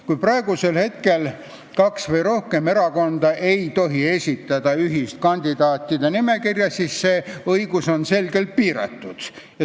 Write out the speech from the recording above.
Kui praegu kaks või rohkem erakonda ei tohi esitada ühist kandidaatide nimekirja, siis see õigus on selgelt piiratud.